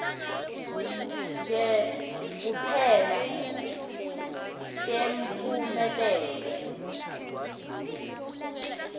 nje kuphela temphumelelo